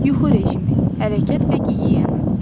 Yuxu rejimi, hərəkət və gigiyena.